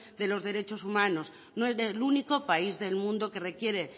de los derechos humanos no es el único país del mundo que requiere